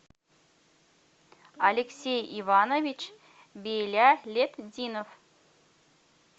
алексей иванович белялетдинов